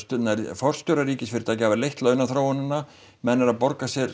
forstjórar ríkisfyrirtækja hafa leitt launaþróunina menn eru að borga sér